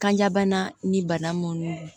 Kanjabana ni bana mun don